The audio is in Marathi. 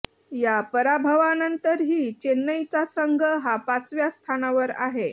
या पराभवानंतरही चेन्नईचा संघ हा पाचव्या स्थानावर आहे